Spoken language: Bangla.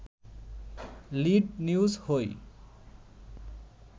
লিড নিউজ হই